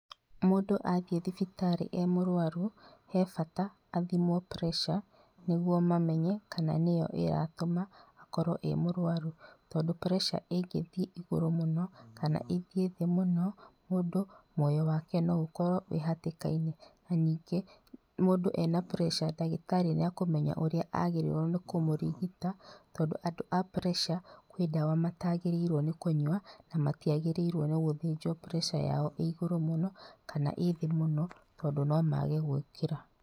Mũndũ athiĩ thibitarĩ e mũrwaru, he bata athimwo pressure nĩguo mamenye kana nĩyo ĩratũma akorwo e mũrwaru. Tondũ pressure ĩngĩthiĩ igũrũ mũno kana ĩthiĩ thĩ mũno, mũoyo wake no ũkorwo wĩ hatĩkainĩ, na ningĩ mũndũ ena pressure ndagĩtarĩ nĩakũmenya ũrĩa agĩrĩirwo nĩ kũmũrigita, tondũ andũ a pressure kwĩ ndawa mataagĩrĩirwo nĩ kũnyua na matiagĩrĩirwo nĩ gũthĩnjwo pressure yao ĩ igũrũ mũno kana ĩ thĩ mũno, tondũ nomage gũũkĩra.